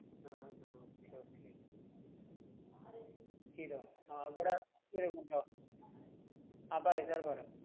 ആഹ് ആഹ് okay okay ചെയ്തോ? ആഹ് ഇവടെ ആഹ് പറയ് sir പറഞ്ഞൊ.